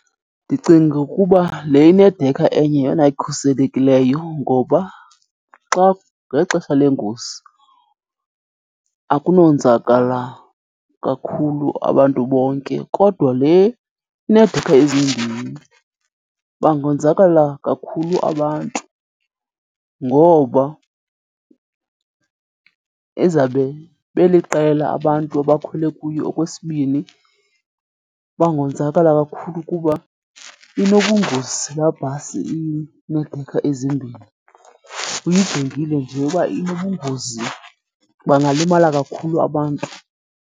Ndicinga ukuba le inedekha enye yeyona ikhuselekileyo ngoba xa ngexesha lengozi akunonzakala kakhulu abantu bonke. Kodwa le ineedekha ezimbini bangonzakala kakhulu abantu, ngoba izawube beliqela abantu abakhwele kuyo. Okwesibini, bangonzakala kakhulu kuba inobungozi laa bhasi ineedekha ezimbini, uyijongile nje uba inobungozi, bangalimala kakhulu abantu.